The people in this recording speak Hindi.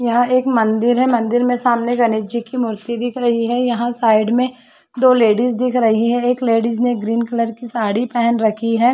यहां एक मंदिर हैं। मंदिर में सामने गणेश जी की मूर्ति दिख रही हैं। यहां साइड में दो लेडीज़ दिख रही हैं। एक लेडीज़ ने ग्रीन कलर की साड़ी पहन रखी है।